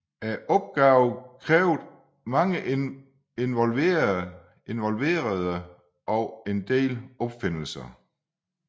Opgaven kræver mange involverede og en del opfindelser